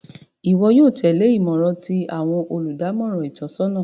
Iwọ yóò tẹle imọran ti awọn oludamọran itọnisọna